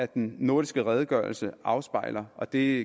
den nordiske redegørelse afspejler og det